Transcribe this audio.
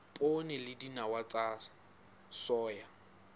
poone le dinawa tsa soya